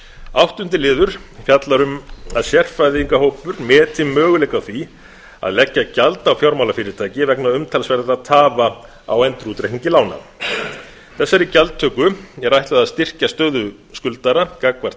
áttundi liður fjallar um að sérfræðingahópur meti möguleika á því að leggja gjald á fjármálafyrirtæki vegna umtalsverðra tafa á endurútreikningi lána þessari gjaldtöku er ætlað að styrkja stöðu skuldara gagnvart